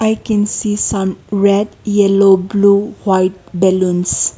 i can see some red yellow blue white balloons.